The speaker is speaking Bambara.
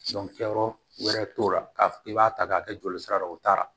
kɛyɔrɔ wɛrɛ t'o la k'a fɔ k'i b'a ta k'a kɛ joli sira la o taara